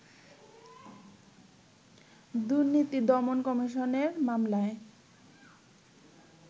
দুর্নীতি দমন কমিশনের মামলায়